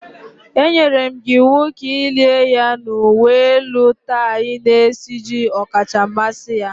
Enyere m gị iwu ka i lie ya n’uwe elu tie na-esiji ọkacha mmasị ya